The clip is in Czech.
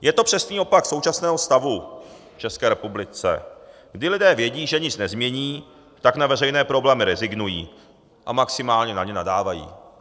Je to přesný opak současného stavu v České republice, kdy lidé vědí, že nic nezmění, a tak na veřejné problémy rezignují, maximálně na ně nadávají.